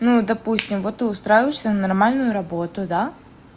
ну допустим вот ты устраиваешься на нормальную работу да